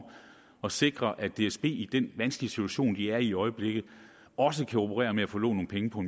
at sikre at dsb i den vanskelige situation de er i i øjeblikket også kan operere med at få lånt nogle penge på